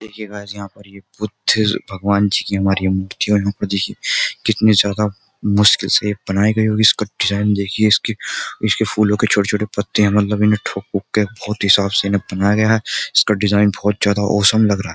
देखिए गाईस यहाँ पर ये बुद्धिस्ट भगवान जी की हमारी मूर्ति है और यहाँ पर देखिये कितनी ज्यादा मुश्किल से ये बनायी गयी होगी इसका डिजाईन देखिये इसके इसके फूलों के छोटे छोटे पत्ते मतलब इन्हें ठोक वोक के बहुत ही साफ से इसे बनाया गया है। इसका डिजाईन बहुत ही औसम लग रहा है।